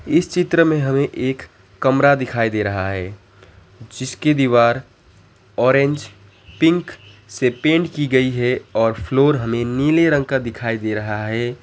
इस चित्र में हमें एक कमरा दिखाई दे रहा है जिसकी दीवार ऑरेंज पिंक से पेंट की गई है और फ्लोर हमें नीले रंग का दिखाई दे रहा है।